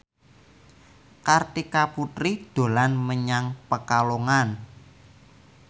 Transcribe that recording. Kartika Putri dolan menyang Pekalongan